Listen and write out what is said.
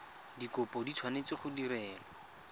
dikopo di tshwanetse go direlwa